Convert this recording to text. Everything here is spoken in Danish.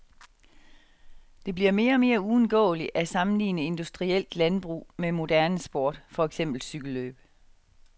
Det bliver mere og mere uundgåeligt at sammenligne industrielt landbrug med moderne sport, for eksempel cykellløb.